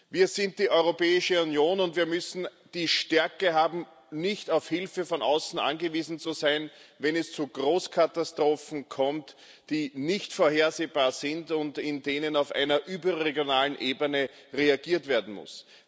Wir sind die Europäische Union, und wir müssen die Stärke haben, nicht auf Hilfe von außen angewiesen zu sein, wenn es zu Großkatastrophen kommt, die nicht vorhersehbar sind und in denen auf einer überregionalen Ebene reagiert werden muss.